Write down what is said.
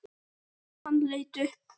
Hann leit upp.